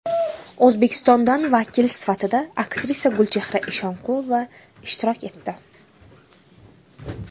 O‘zbekistondan vakil sifatida aktrisa Gulchehra Eshonqulova ishtirok etdi.